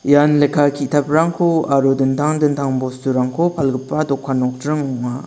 ian lekka ki·taprangko aro dingtang dingtang bosturangko palgipa dokan nokdring ong·a.